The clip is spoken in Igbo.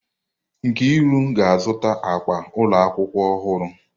Nkiri ga-azụta akpa ụlọ akwụkwọ ọhụrụ.